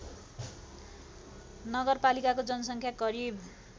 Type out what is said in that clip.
नगरपालिकाको जनसङ्ख्या करिब